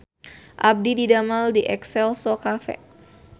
Abdi didamel di Exelco Cafe